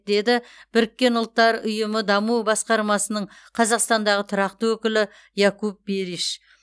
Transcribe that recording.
деді біріккен ұлттар ұйымының даму басқармасының қазақстандағы тұрақты өкілі якуп бериш